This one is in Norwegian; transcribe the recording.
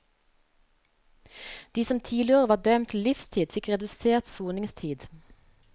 De som tidligere var dømt til livstid fikk redusert soningstid.